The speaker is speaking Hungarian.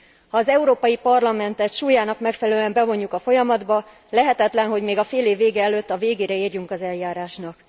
Ha az Európai Parlamentet súlyának megfelelően bevonjuk a folyamatba, lehetetlen, hogy még a félév vége előtt a végére érjünk az eljárásnak.